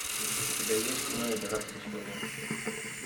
у тебя есть кино игра престолов